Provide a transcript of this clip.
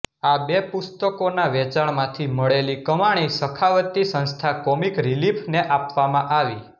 આ બે પુસ્તકોના વેચાણમાથી મળેલી કમાણી સખાવતી સંસ્થા કોમિક રીલીફ ને આપવામાં આવી